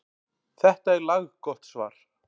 Þetta er laggott svar.